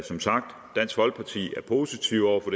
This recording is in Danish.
som sagt positive over for